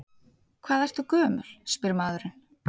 Hvað ertu gömul, spyr maðurinn.